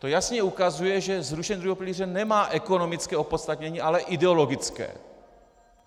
To jasně ukazuje, že zrušené druhého pilíře nemá ekonomické opodstatnění, ale ideologické.